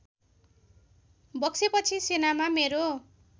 बक्सेपछि सेनामा मेरो